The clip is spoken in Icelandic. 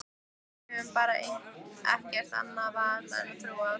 Við höfum bara ekkert annað val en að trúa því.